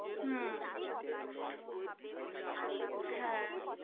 হম হ্যা.